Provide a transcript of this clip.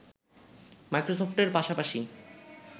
মাইক্রোসফটের পাশাপাশি